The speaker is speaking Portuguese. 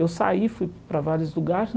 Eu saí, fui para vários lugar.